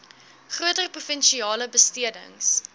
groter provinsiale besteding